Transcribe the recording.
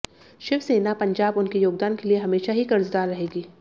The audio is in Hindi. शिवसेना पंजाब उनके योगदान के लिए हमेशा ही कर्जदार रहेगी